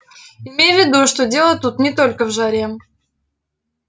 имей в виду что дело тут не только в жаре